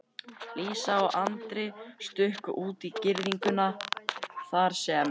Lísa og Andri stukku út í girðingu þar sem